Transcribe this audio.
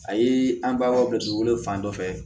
A ye an balimaw bila dugukolo fan dɔ fɛ